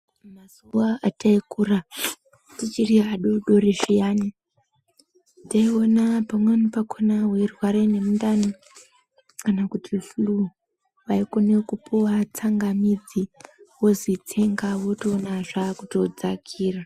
Mazuwa ataikura, tichiri adoodori zviyani, taiona pamweni pakhona weirware nemundani kana kuti fuluu, waikone kupuwa tsangamidzi wozi tsenga wotoona zvaakutodzakira.